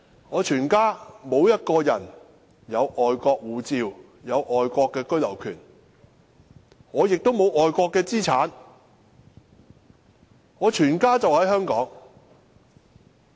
我全家沒有一個人持有外國護照，或擁有外國居留權，我也沒有外國資產，我全家人也在香港生活。